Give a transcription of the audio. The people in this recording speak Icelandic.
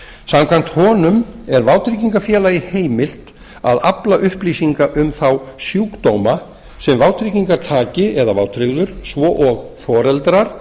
samkvæmt honum er vátryggingafélag heimilt að afla upplýsinga um þá sjúkdóma sem vátryggingartaki eða vátryggður svo og foreldrar